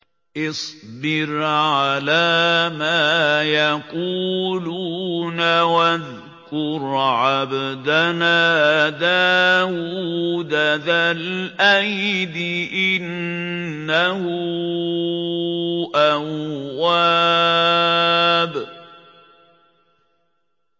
اصْبِرْ عَلَىٰ مَا يَقُولُونَ وَاذْكُرْ عَبْدَنَا دَاوُودَ ذَا الْأَيْدِ ۖ إِنَّهُ أَوَّابٌ